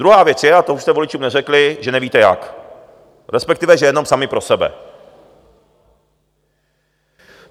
Druhá věc je, a to už jste voličům neřekli, že nevíte jak, respektive že jenom sami pro sebe.